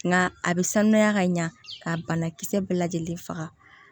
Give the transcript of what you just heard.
Nka a bɛ sanuya ka ɲa ka banakisɛ bɛɛ lajɛlen faga